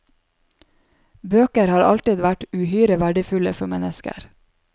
Bøker har alltid vært uhyre verdifulle for mennesker.